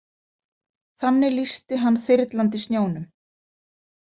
Þannig lýsti hann þyrlandi snjónum.